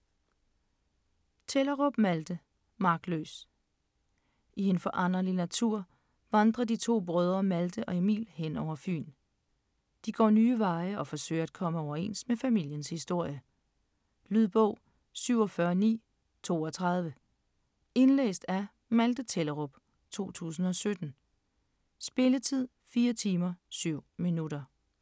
Tellerup, Malte: Markløs I en foranderlig natur vandrer de to brødre Malte og Emil hen over Fyn. De går nye veje og forsøger at komme overens med familiens historie. Lydbog 47932 Indlæst af Malte Tellerup, 2017. Spilletid: 4 timer, 7 minutter.